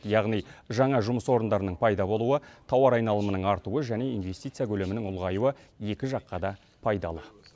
яғни жаңа жұмыс орындарының пайда болуы тауар айналымының артуы және инвестиция көлемінің ұлғаюы екі жаққа да пайдалы